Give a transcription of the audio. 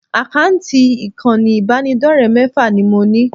Àkáǹtì ìkànnì ìbánidọ́rẹ̀ẹ́ mẹ́fà ni mo ní